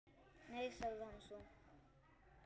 Nei- sagði hann svo.